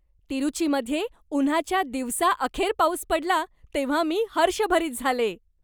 तिरुचीमध्ये उन्हाच्या दिवसा अखेर पाऊस पडला तेव्हा मी हर्षभरित झाले.